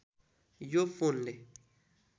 यो फोनले